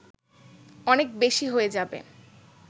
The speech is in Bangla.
অনেক বেশি হয়ে যাবে